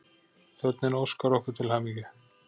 Þjónninn óskar okkur til hamingju.